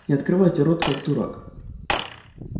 не открывайте рот как дурак